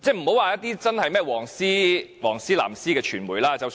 不管屬於"黃絲"或"藍絲"的傳媒也有報道。